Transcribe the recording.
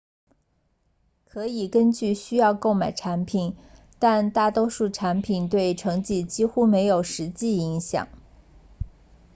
可以根据需要购买产品但大多数产品对成绩几乎没有实际影响